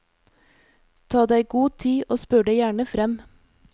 Ta deg god tid og spør deg gjerne frem.